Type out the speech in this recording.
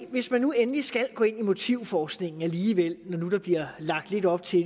hvis man nu endelig skal gå ind i motivforskningen alligevel når nu der bliver lagt lidt op til